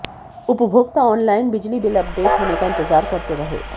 उपभोक्ता ऑनलाइन बिजली bill update होने का इंतजार करते रहे